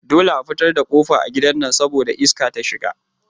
Dole a fitar da kofa a gidan nan saboda iska take shiga